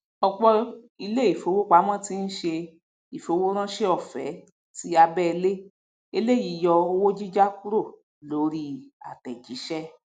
òpò ilé ìfowópamọ ti ń ṣe ìfowóránse ọfé tí abẹẹlé eléyìí yọ owó jíjá kúrò lórí àtẹjíṣẹ